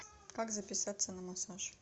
как записаться на массаж